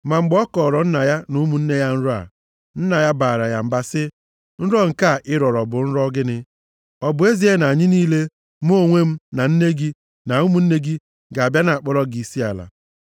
Ma mgbe ọ kọọrọ nna ya na ụmụnne ya nrọ a. Nna ya baara ya mba, sị, “Nrọ nke a ị rọrọ bụ nrọ gịnị? Ọ bụ ezie na anyị niile, mụ onwe m na nne gị na ụmụnne gị, ga-abịa na-akpọrọ gị isiala?”